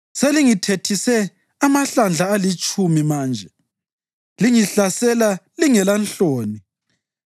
Selingithethise amahlandla alitshumi manje; lingihlasela lingelanhloni.